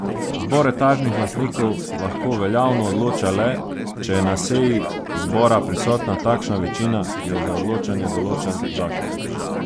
Zbor etažnih lastnikov lahko veljavno odloča le, če je na seji zbora prisotna takšna večina, ki jo za odločanje določa zakon.